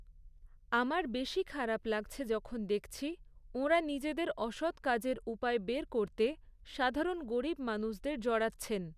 আমার বেশি খারাপ লাগছে যখন দেখছি, ওঁরা নিজেদের অসৎ কাজের উপায় বের করতে সাধারণ গরীব মানুষদের জড়াচ্ছেন।